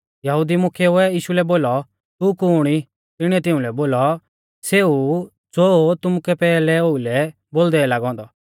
यहुदी मुख्येउऐ यीशु लै बोलौ तू कुण ई तिणीऐ तिउंलै बोलौ सेऊ ऊ ज़ो तुमुकै पैहलै ओउलै ऊ बोलदै लागौ औन्दौ